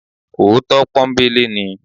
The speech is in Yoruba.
Òótọ́ pọ́nńbélé ni.